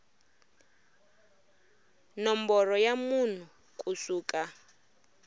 nomboro ya munhu ku suka